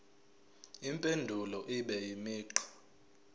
impendulo ibe imigqa